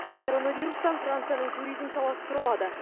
коронавирустан францияның туризм саласы тұралады